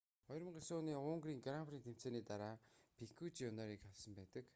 2009 оны унгарын гран при тэмцээний дараа пикёт жуниорыг халсан байдаг